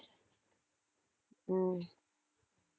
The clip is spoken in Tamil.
உம்